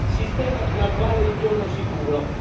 sistema di graduale ritorno sicuro.